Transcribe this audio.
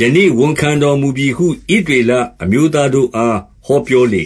ယနေ့ ဝန်ခံတော်မူပြီဟု ဣသရေလအမျိုး သားတို့အား ဟောပြောလေ